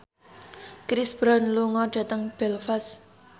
Chris Brown lunga dhateng Belfast